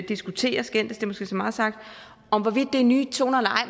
diskutere skændes er måske så meget sagt om hvorvidt det er nye toner